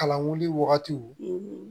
Kalan wuli wagati